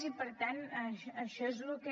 i per tant això és el que